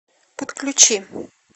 подключи